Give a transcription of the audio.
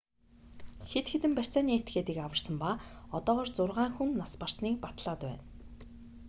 хэд хэдэн барьцааны этгээдийг аварсан ба одоогоор зургаан хүн нас барсаныг батлаад байна